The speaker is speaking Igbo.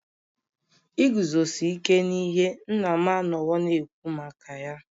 Iguzosi ike n'ihe nna m anọwo na-ekwu maka ya